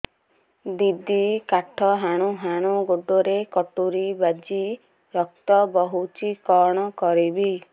ଦିଦି କାଠ ହାଣୁ ହାଣୁ ଗୋଡରେ କଟୁରୀ ବାଜି ରକ୍ତ ବୋହୁଛି କଣ କରିବି